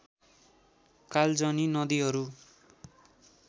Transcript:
कालजनि नदिहरू